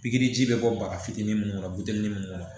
Pikiri ji bɛ bɔ baga fitinin mun kɔnɔ bitenin mun kɔnɔ